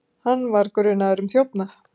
Hann var grunaður um þjófnað.